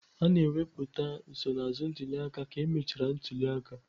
A na-ewepụta nsonaazụ ntuli aka ka emechara ntuli aka.